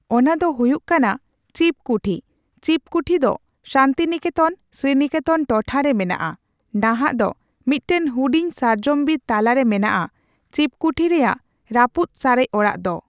ᱚᱱᱟ ᱫᱚ ᱦᱩᱭᱩᱜ ᱠᱟᱱᱟ ᱪᱤᱯᱠᱩᱴᱷᱤ᱾ ᱪᱤᱯᱠᱩᱴᱷᱤ ᱫᱚ ᱥᱟᱱᱛᱤᱱᱤᱠᱮᱛᱚᱱᱼᱥᱨᱤᱱᱤᱠᱮᱛᱚᱱ ᱴᱚᱴᱷᱟ ᱨᱮ ᱢᱮᱱᱟᱜᱼᱟ ᱾ ᱱᱟᱦᱟᱜ ᱫᱚ ᱢᱤᱫᱴᱟᱝ ᱦᱩᱰᱤᱧ ᱥᱟᱨᱡᱚᱢ ᱵᱤᱨ ᱛᱟᱞᱟ ᱨᱮ ᱢᱮᱱᱟᱜᱼᱟ ᱪᱤᱯᱠᱩᱴᱷᱤ ᱨᱮᱭᱟᱜ ᱨᱟᱹᱯᱩᱫ ᱥᱟᱨᱮᱡ ᱚᱲᱟᱜ ᱫᱚ᱾